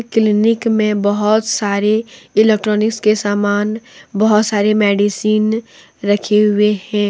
Clinic में बहुत सारे इलेक्ट्रॉनिक्स के समान बहुत सारे मेडिसिन रखे हुए हैं।